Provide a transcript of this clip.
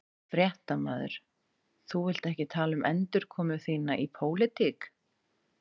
Fréttamaður: Þú vilt ekki tala um endurkomu þína í pólitík?